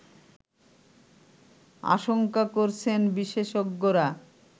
আশঙ্কা করছেন বিশেষজ্ঞরা